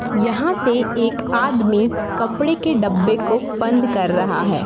यहां पे एक आदमी कपड़े के डब्बे को बंद कर रहा है।